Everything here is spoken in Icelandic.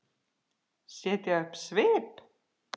Setja upp svip?